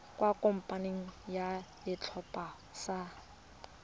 kwa kopanong ya setlhopha sa